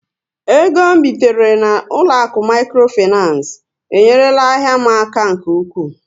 Égo bitere na ụlọakụ micro financé, enyerela ahịa m aka nke ụkwụ